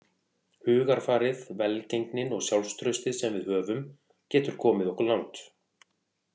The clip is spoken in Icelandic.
Hugarfarið, velgengnin og sjálfstraustið sem við höfum getur komið okkur langt.